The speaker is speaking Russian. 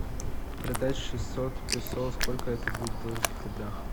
продать шестьсот песо сколько это будет в белорусских рублях